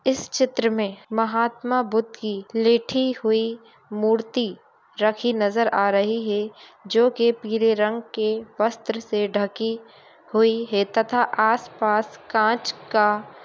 इस चित्र में महात्मा बुद्ध की लेठी हुई मूर्ति रखी नजर आ रही है जो के पीले रंग के वस्त्र से ढकी हुई है तथा आस-पास कांच का --